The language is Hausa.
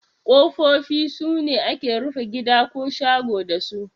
Kofofi sune ake rufe gida ko shago dasu.